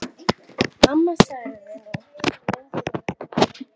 Amma þagði nú lengi, lengi.